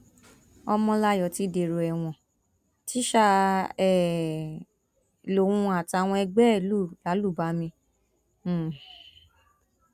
ọmọláyọ ti dèrò ẹwọn tíṣà um lòun àtàwọn ẹgbẹ ẹ lù lálùbami um